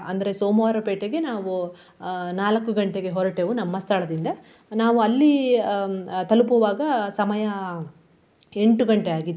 ಅಂದ್ರೆ ಸೋಮವಾರ ಪೇಟೆಗೆ ನಾವು ಅಹ್ ನಾಲಕ್ಕು ಗಂಟೆಗೆ ಹೊರಟೆವು ನಮ್ಮ ಸ್ಥಳದಿಂದ. ನಾವು ಅಲ್ಲಿ ಹ್ಮ್ ಅಹ್ ತಲಪುವಾಗ ಸಮಯ ಎಂಟು ಗಂಟೆ ಆಗಿತ್ತು.